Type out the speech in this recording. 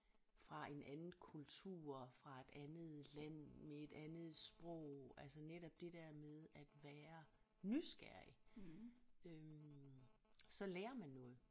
Fra en anden kultur fra et andet land med et andet sprog altså netop det der med at være nysgerrig øh så lærer man noget